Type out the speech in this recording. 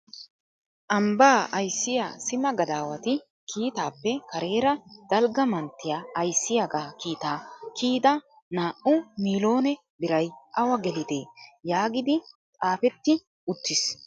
" Ambba ayssiya simma gadawati kiittappe kareera Dalgga manttiya ayssiyaaga kiitta kiyyida naa"u miillone biray awa gelide? " yaagidi xaafeti uttiis.